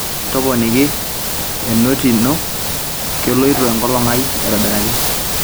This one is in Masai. toponiki enoti ajo keloito enkolong aai aitobiraki